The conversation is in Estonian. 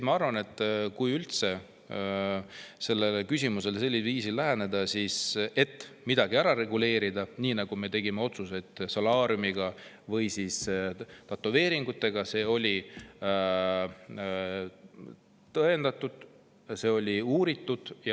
Ma arvan, et kui üldse sellele küsimusele sellisel viisil läheneda, et midagi ära reguleerida, nii nagu me tegime otsused solaariumi ja tätoveeringute kohta, siis oli tõendatud, seda oli uuritud.